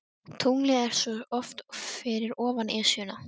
Tunglið er svo oft fyrir ofan Esjuna.